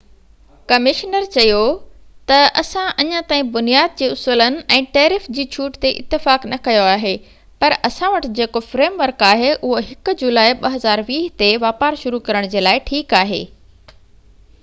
commissioner چيو تہ اسان اڃا تائين بنياد جي اصولن ۽ ٽيرف جي ڇوٽ تي اتفاق نہ ڪيو آهي پر اسان وٽ جيڪو فريم ورڪ آهي اهو 1 جولائي 2020 تي واپار شروع ڪرڻ جي لاءِ ٺيڪ آهي